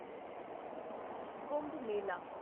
Kumbh Mela